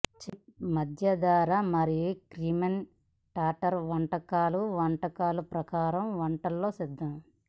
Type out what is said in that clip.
chef మధ్యధరా మరియు Crimean Tatar వంటలు వంటకాలు ప్రకారం వంటలలో సిద్ధం